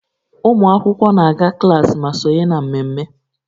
Ụmụ akwụkwọ na-aga klaasị ma sonye na mmemme